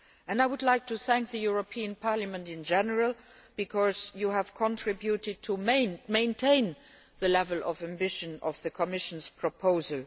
I would like to thank the European Parliament in general because it has contributed to maintaining the level of ambition of the Commission's proposal.